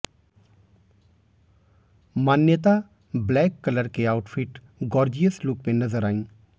मान्यता black colour के outfit gorgeous look में नजर आईं